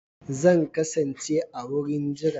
Zan kasance a wurin jira